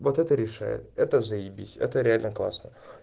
вот это решает это заебись это реально классно